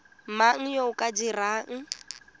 mang yo o ka dirang